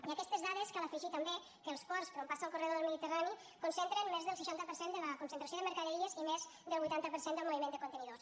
i a aquestes dades cal afegir també que els ports per on passa el corredor del mediterrani concentren més del seixanta per cent de la concentració de mercaderies i més del vuitanta per cent del moviment de contenidors